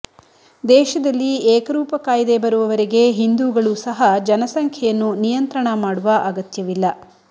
ದೇಶದಲ್ಲಿ ಏಕರೂಪ ಕಾಯ್ದೆ ಬರುವವರೆಗೆ ಹಿಂದೂಗಳು ಸಹ ಜನಸಂಖ್ಯೆಯನ್ನು ನಿಯಂತ್ರಣ ಮಾಡುವ ಅಗತ್ಯವಿಲ್ಲ